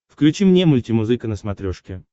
включи мне мультимузыка на смотрешке